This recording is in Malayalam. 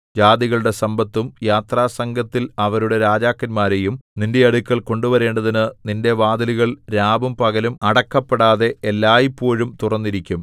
ജാതികളുടെ സമ്പത്തും യാത്രാസംഘത്തിൽ അവരുടെ രാജാക്കന്മാരെയും നിന്റെ അടുക്കൽ കൊണ്ടുവരേണ്ടതിനു നിന്റെ വാതിലുകൾ രാവും പകലും അടക്കപ്പെടാതെ എല്ലായ്പോഴും തുറന്നിരിക്കും